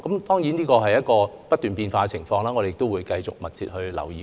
當然，情況不斷變化，我們會繼續密切留意。